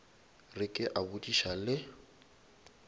re ke a botšiša le